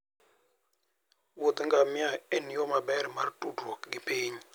Wuodh ngamia en yo maber mar tudruok gi piny